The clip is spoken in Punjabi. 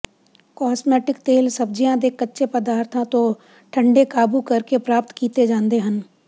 ਕੌਸਮੈਟਿਕ ਤੇਲ ਸਬਜ਼ੀਆਂ ਦੇ ਕੱਚੇ ਪਦਾਰਥਾਂ ਤੋਂ ਠੰਡੇ ਕਾਬੂ ਕਰਕੇ ਪ੍ਰਾਪਤ ਕੀਤੇ ਜਾਂਦੇ ਹਨ